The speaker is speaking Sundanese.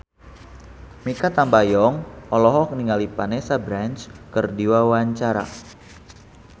Mikha Tambayong olohok ningali Vanessa Branch keur diwawancara